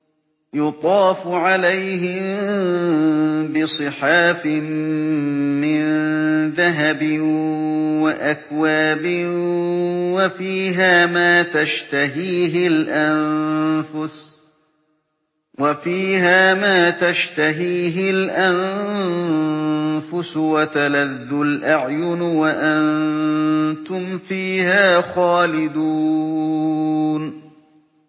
يُطَافُ عَلَيْهِم بِصِحَافٍ مِّن ذَهَبٍ وَأَكْوَابٍ ۖ وَفِيهَا مَا تَشْتَهِيهِ الْأَنفُسُ وَتَلَذُّ الْأَعْيُنُ ۖ وَأَنتُمْ فِيهَا خَالِدُونَ